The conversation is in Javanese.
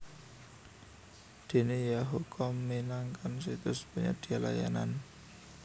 Dene yahoo com minangkan situs penyedia layanan